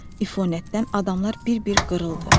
İfonətdən adamlar bir-bir qırıldı.